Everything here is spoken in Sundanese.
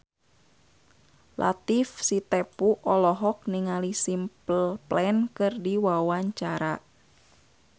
Latief Sitepu olohok ningali Simple Plan keur diwawancara